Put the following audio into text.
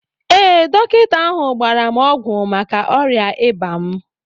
Ee, dọkịta ahụ gbara m ọgwụ maka ọrịa ịba m